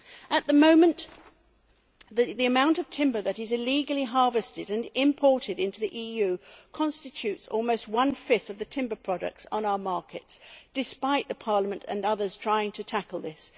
At the moment, the amount of timber that is illegally harvested and imported into the EU constitutes almost one fifth of the timber products on our markets, despite Parliament and others trying to tackle this.